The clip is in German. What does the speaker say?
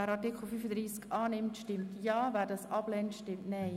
Wer dem Artikel zustimmt, stimmt Ja, wer diesen ablehnt, stimmt Nein.